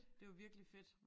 Det var virkelig fedt